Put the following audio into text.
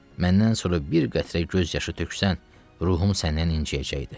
Məndən sonra bir qətrə göz yaşı töksən, ruhum səndən incəyəcəkdi.